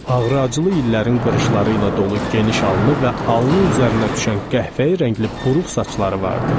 Ağrı-acılı illərin qırışları ilə dolu geniş alnı və alnı üzərinə düşən qəhvəyi rəngli buruq saçları vardı.